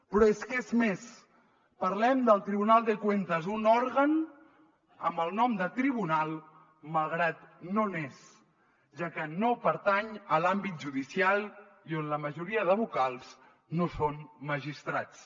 però és que és més parlem del tribunal de cuentas un òrgan amb el nom de tribunal malgrat que no n’és ja que no pertany a l’àmbit judicial i on la majoria de vocals no són magistrats